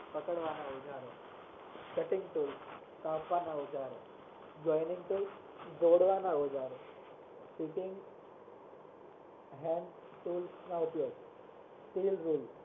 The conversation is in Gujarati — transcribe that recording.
પકડવાના ઉજારો cutting tool કાપવાના ઉજારો joining tool જોડવાના ઉજારો